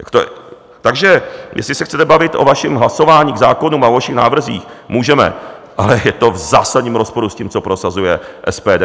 Takže jestli se chcete bavit o vašem hlasování k zákonům a o vašich návrzích, můžeme, ale je to v zásadním rozporu s tím, co prosazuje SPD.